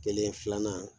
Kelen filanan